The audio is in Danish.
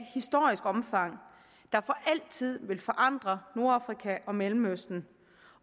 historisk omfang der for altid vil forandre nordafrika og mellemøsten